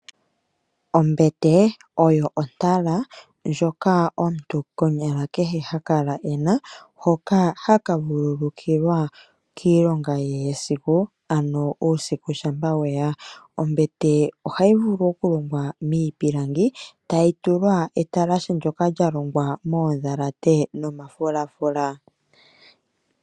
Ombete oyo ontala ndjoka omuntu konyala kehe ha kala e na hoka haka vululukilwa kiilonga yesiku ano uusiku shampa we ya. Ombete ohayi vulu okulongwa miipilangi, tayi tulwa etalashe ndoka hali kala lya longwa moondhalate nomafulafula.